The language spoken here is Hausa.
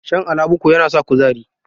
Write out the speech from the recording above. Shan alabuku yana sa kuzari.